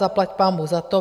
Zaplať pánbůh za to.